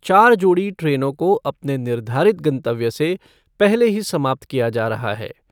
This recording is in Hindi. चार जोड़ी ट्रेनों को अपने निर्धारित गंतव्य से पहले ही समाप्त किया जा रहा है।